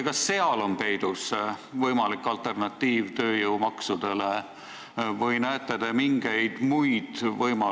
Kas seal on peidus võimalik tööjõumaksude alternatiiv?